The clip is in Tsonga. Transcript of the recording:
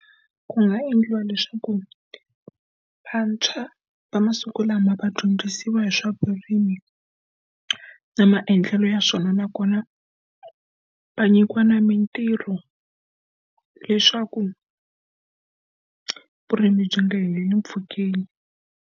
Ku nga endliwa leswaku vantshwa va masiku lama va dyondzisiwa hi swa vurimi, na maendlelo ya swona nakona va nyikiwa na mitirho leswaku vurimi byi nga heleli mpfhukeni.